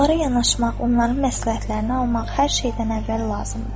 Onlara yanaşmaq, onların məsləhətlərini almaq hər şeydən əvvəl lazımdır.